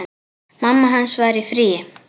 Mamma hans var í fríi.